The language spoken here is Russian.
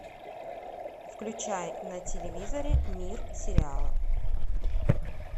включай на телевизоре мир сериалов